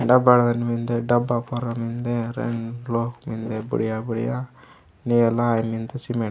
डबड अन मिन्दे डाबा परम मिंदे रेनलो मिंदे बढ़िया -बढ़िया निलय मिंड सीमेंट --